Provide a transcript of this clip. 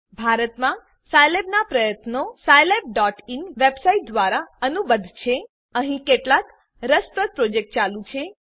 ભારતમાં સાઈલેબના પ્રયત્નો scilabઇન વેબસાઈટ દ્વારા અનુબદ્ધ છે અહીં કેટલાક રસપ્રદ પ્રોજેક્ટ ચાલુ છે